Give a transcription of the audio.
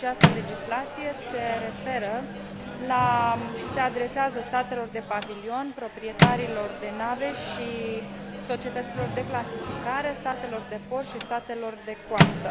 Această legislație se referă și se adresează statelor de pavilion, proprietarilor de nave și societăților de clasificare, statelor de port și statelor de coastă.